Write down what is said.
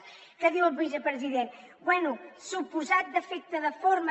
què diu el vicepresident bé suposat defecte de forma